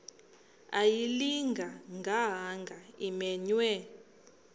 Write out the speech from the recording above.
ayilinga gaahanga imenywe